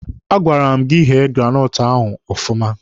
A gwara m gị ghee granọtụ ahụ ọfụma!